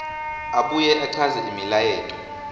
abuye achaze imilayeto